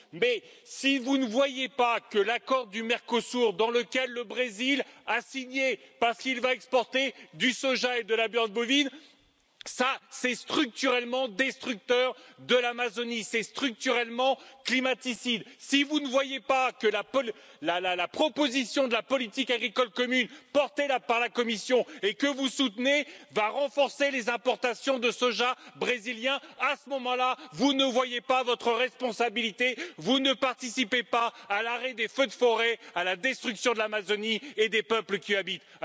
Mais si vous ne voyez pas que l'accord du Mercosur que le Brésil a signé parce qu'il va exporter du soja et de la viande bovine est structurellement destructeur de l'Amazonie et structurellement climaticide, si vous ne voyez pas que la proposition de la politique agricole commune, portée par la Commission et que vous soutenez, va renforcer les importations de soja brésilien, à ce moment là, vous ne voyez pas votre responsabilité, vous ne participez pas à l'arrêt des feux de forêt, de la destruction de l'Amazonie et des peuples qui y habitent!